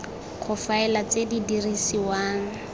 go faela tse di dirisiwang